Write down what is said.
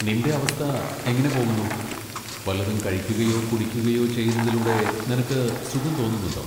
നിന്റെ അവസ്ഥ എങ്ങനെ പോകുന്നു? വല്ലതും കഴിക്കുകയോ കുടിക്കുകയോ ചെയ്യുന്നതിലൂടെ നിനക്ക് സുഖം തോന്നുന്നുണ്ടോ?